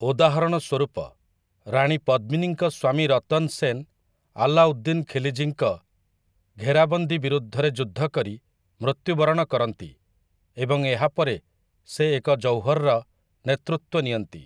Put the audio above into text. ଉଦାହରଣ ସ୍ୱରୂପ, ରାଣୀ ପଦ୍ମିନୀଙ୍କ ସ୍ୱାମୀ ରତନ୍ ସେନ୍ ଆଲ୍ଲାଉଦ୍ଦିନ୍ ଖାଲ୍‌ଜୀଙ୍କ ଘେରାବନ୍ଦୀ ବିରୁଦ୍ଧରେ ଯୁଦ୍ଧ କରି ମୃତ୍ୟୁ ବରଣ କରନ୍ତି ଏବଂ ଏହାପରେ ସେ ଏକ ଜୌହର୍‌ର ନେତୃତ୍ୱ ନିଅନ୍ତି ।